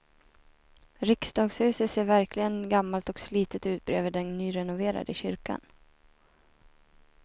Riksdagshuset ser verkligen gammalt och slitet ut bredvid den nyrenoverade kyrkan.